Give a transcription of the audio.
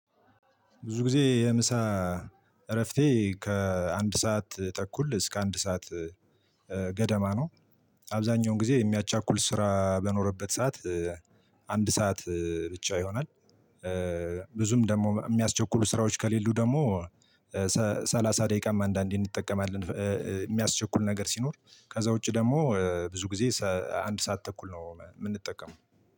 ብዙ ጊዜ የምሳ እረፍቴ ከአንድ ሰዓት ተኩል እስከ አንድ ሰዓት ገደማ ነው። አብዛኛውን ጊዜ የሚያቻኩል ስራ በኖረበት ሰዓት አንድ ሰዓት ብቻ ይሆናል። ብዙም ደግሞ የሚያስቸኩሉ ስራዎች ከሌሉ ደግሞ ሰላሣ ደቂቃም አንዳንዴ እንጠቀማለን የሚያስቸኩል ነገር ሲኖር ከዛ ውጪ ደግሞ ብዙ ጊዜ አንድ ሰዓት ተኩል ነው የምንጠቀመው